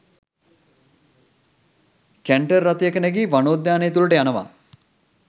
Canter රථයක නැගී වනෝද්‍යානය තුළට යනවා.